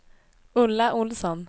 Ulla Ohlsson